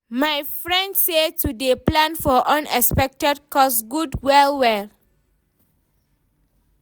my friend say to dey plan for unexpected cost good well well